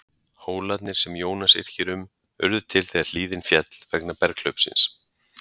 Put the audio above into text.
hólarnir sem jónas yrkir um urðu til þegar hlíðin féll vegna berghlaupsins